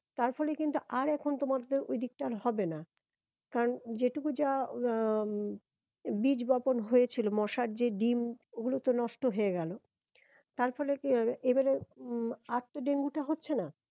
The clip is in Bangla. তার ফলে কিন্তু আর এখন তোমাদের ওইদিকটা আর হবে না কারণ যেটুকু যা উম বীজ বপন হয়েছিল মশার যে ডিম্ ওগুলো তো নষ্ট হয়ে গেলো তার ফলে কি হবে এবারে উম আর তো ডেঙ্গু টা হচ্ছে না